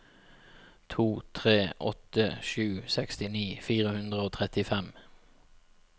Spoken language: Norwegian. to tre åtte sju sekstini fire hundre og trettifem